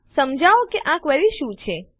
સમજાવો કે આ ક્વેરી શું કરે છે